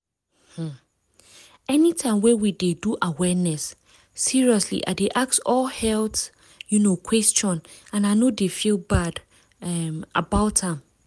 umanytime wey we dey do awareness seriously i dey ask all health um question and i no dey feel bad um about am.